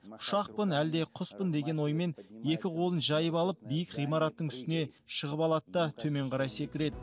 ұшақпын әлде құспын деген оймен екі қолын жайып алып биік ғимараттың үстіне шығып алады да төмен қарай секіреді